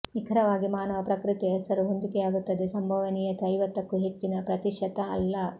ನಿಖರವಾಗಿ ಮಾನವ ಪ್ರಕೃತಿಯ ಹೆಸರು ಹೊಂದಿಕೆಯಾಗುತ್ತದೆ ಸಂಭವನೀಯತೆ ಐವತ್ತಕ್ಕೂ ಹೆಚ್ಚಿನ ಪ್ರತಿಶತ ಅಲ್ಲ